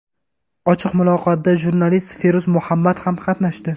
Ochiq muloqotda jurnalist Feruz Muhammad ham qatnashdi.